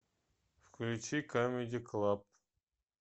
включи камеди клаб